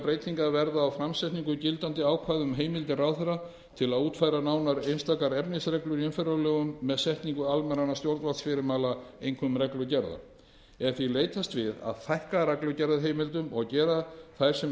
breytingar verða á framsetningu gildandi ákvæða um heimildir ráðherra til að útfæra nánar einstakar efnisreglur í umferðarlögum með setningu almennra stjórnvaldsfyrirmæla einkum reglugerða er því leitast við að fækka reglugerðarheimildum og gera þær sem